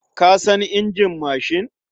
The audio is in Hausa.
Ka san injin mashin?